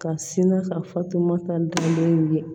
Ka sina ka fatumata dɔn ye